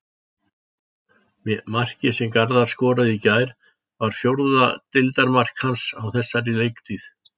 Markið sem Garðar skoraði í gær var fjórða deildarmark hans á þessari leiktíð.